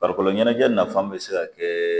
Farikolo ɲɛnajɛ nafan bɛ se ka kɛ